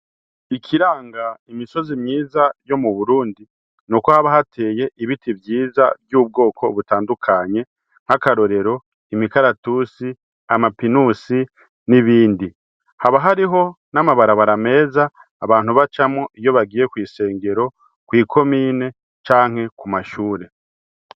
Ikiranga imisozi myiza yo mu Burundi nuko haba hateye ibiti vyiza vy’ubwoko butandukanye , nk’akarorero imikaratusi, amapinusi n’ibindi . Haba hariho n’amabarabara meza abantu bacamwo iyo bagiye kw’isengero, kwi komine canke ku mashure.